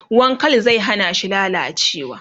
ruwan Kal zai hanashi lallacewa